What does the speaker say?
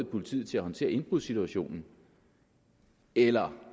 politiet til at håndtere indbrudssituationen eller